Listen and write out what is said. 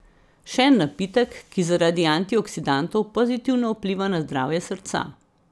Še en napitek, ki zaradi antioksidantov pozitivno vpliva na zdravje srca.